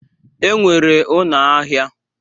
E nwere ụnọ ahịa.